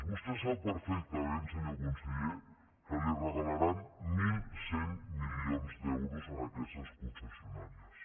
vostè sap perfectament senyor conseller que els regalaran mil cent milions d’euros a aquestes concessionàries